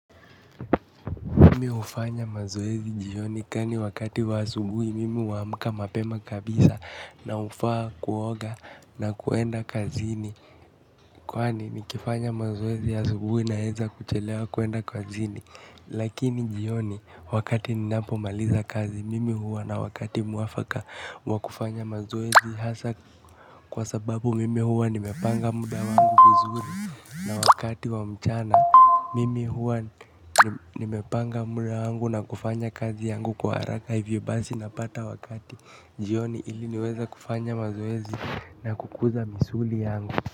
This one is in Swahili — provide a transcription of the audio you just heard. Mimi hufanya mazoezi jioni kwani wakati wa asubuhi mimi huamka mapema kabisa na hufaa kuoga na kwenda kazini. Kwani nikifanya mazoezi asubuhi naweza kuchelewa kwenda kazini. Lakini jioni wakati ninapomaliza kazi mimi huwa na wakati mwafaka wa kufanya mazoezi hasa kwa sababu mimi huwa nimepanga muda wangu vizuri. Na wakati wa mchana, mimi huwa nimepanga muda wangu na kufanya kazi yangu kwa haraka. Hivyo basi napata wakati jioni ili niweze kufanya mazoezi na kukuza misuli yangu.